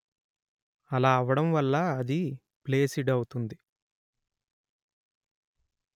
అలా అవ్వడం వల్ల అది ఫ్లేసిడ్ అవుతుంది